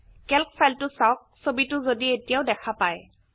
Calc ফাইলটো চাওক ছবিটো যদি এতিয়াও দেখা পাই